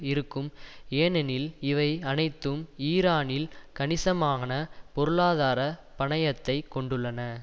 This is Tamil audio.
இருக்கும் ஏனெனில் இவை அனைத்தும் ஈரானில் கணிசமான பொருளாதார பணயத்தை கொண்டுள்ளன